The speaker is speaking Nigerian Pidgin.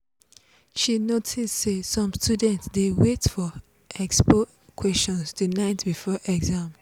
e notice say some students dey wait for expo questions the night before exam.